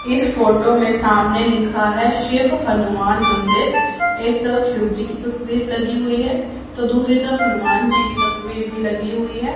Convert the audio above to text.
इस फोटो में सामने लिखा है शिव हनुमान मंदिर एक तरफ शिवजी की तस्वीर लगी हुई है तो दूसरी तरफ हनुमान जी की तस्वीर भी लगी हुई है।